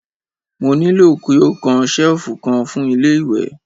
Mo ní ki ó kan ṣẹ̀lfù kan fún ilé ìwẹ̀!